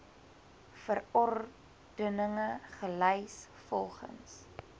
verordeninge gelys volgens